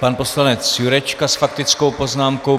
Pan poslanec Jurečka s faktickou poznámkou.